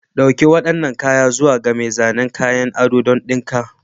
Dauki waɗannan kayan zuwa ga mai zanen kayan ado don dinka.